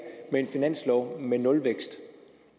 med en finanslov med nulvækst